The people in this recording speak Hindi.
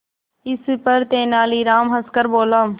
इस पर तेनालीराम हंसकर बोला